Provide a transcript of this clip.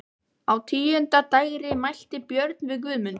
Á tíunda dægri mælti Björn við Guðmund: